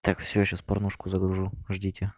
так все сейчас порнушку загружу ждите